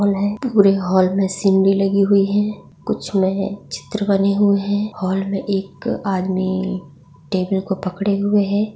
पूरे hall scenery लगी हुयी है कुछ मे चित्र बने हुये है हॉल मे एक आदमी टेबल को पकड़े हुए है।